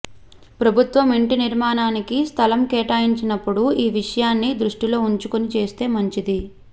ప్రభుత్వం ఇంటి నిర్మాణానికి స్థలం కేటాయించినప్పుడు ఈ విషయాన్ని దృష్టిలో ఉంచుకొని చేస్తే మంచిది